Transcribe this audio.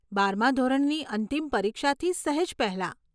બારમાં ધોરણની અંતિમ પરીક્ષાથી સહેજ પહેલાં.